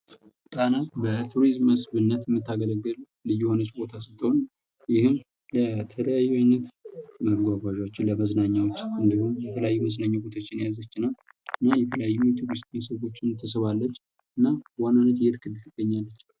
ጣና ለቱሪዝም መስህብነት የምታገለግል ልዩ የህነች ቦታ ስትሆን ይህም ለተለያዩ አይነት መጓጓዣዎች መዝናኛዎች እንድሁም የተለያዩ መዝናኛ ቦታዎችን የያዘች እና የተለያዩ የቱሪስት መስህቦችን ትስባለች። እና የት ክልል ትገኛለች?